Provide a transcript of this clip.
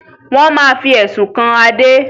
Wọn má fi Ẹ̀sùn kan Adé